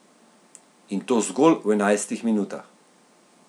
In to zgolj v enajstih minutah.